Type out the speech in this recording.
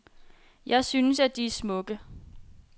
Jeg synes, at de er smukke.